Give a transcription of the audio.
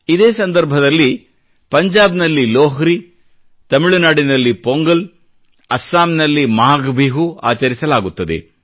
ಇದೇ ಸಂದರ್ಭದಲ್ಲಿ ಪಂಜಾಬ್ನಲ್ಲಿ ಲೋಹ್ರಿ ತಮಿಳುನಾಡಿನಲ್ಲಿ ಪೊಂಗಲ್ ಅಸ್ಸಾಂ ನಲ್ಲಿ ಮಾಘಬಿಹು ಆಚರಿಸಲಾಗುತ್ತದೆ